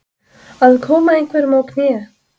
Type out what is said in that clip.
Að koma einhverjum á kné